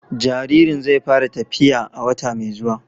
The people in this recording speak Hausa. Jaririn zai fara tafiya a wata mai zuwa.